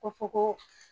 Ko fɔ ko